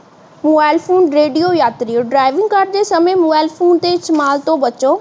mobile phone radio ਯਾਤ੍ਰੀਯੋ driving ਕਰਦੇ ਸਮੇ ਮੋਬਾਈਲ ਦੇ ਇਸਤੇਮਾਲ ਤੋਂ ਬਚੋ